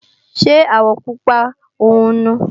Ṣé àwọ̀ Pupa ọ̀hún nu?